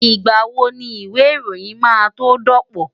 Ìgbà wo ni ìwé ìròyìn máa tó dọ̀pọ̀?